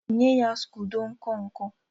nye ya scodo nkọ nkọ!